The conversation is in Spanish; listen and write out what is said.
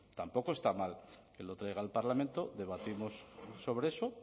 tampoco está mal que lo traiga al parlamento debatimos sobre eso